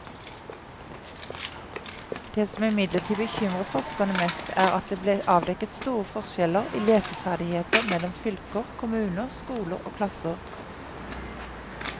Det som imidlertid bekymrer forskerne mest, er at det ble avdekket store forskjeller i leseferdigheter mellom fylker, kommuner, skoler og klasser.